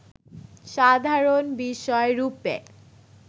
সাধারণ বিষয়রূপে